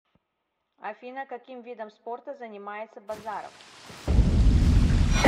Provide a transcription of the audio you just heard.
афина каким видом спорта занимается базаров